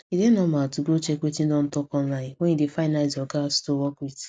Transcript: e dey normal to go check wetin don talk online when you dey find nice ogas to work with